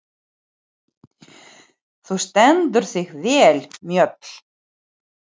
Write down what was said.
Þú stendur þig vel, Mjöll!